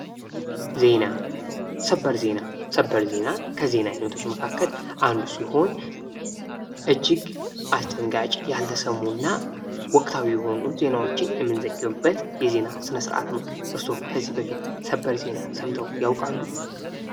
ዜና ፡-ሰበር ዜና ከዜና አይነቶች መካከል አንዱ ሲሆን እጅግ አስደንጋጭ ፣ያልተሰሙና ወቅታዊ የሆኑ ዜናዎችን የምንዘግብበት የዜና ስነ-ስርአት ነው። እርስዎ ከዚህ በፊት ሰበር ዜናን ሰምተው ያውቃሉ?